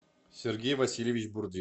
сергей васильевич бурдин